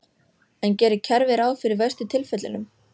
En gerir kerfið ráð fyrir verstu tilfellunum?